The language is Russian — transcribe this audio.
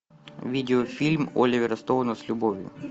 видео фильм оливера стоуна с любовью